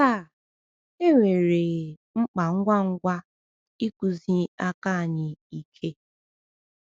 Taa, enwere um mkpa ngwa ngwa ịkụzi aka anyị ike.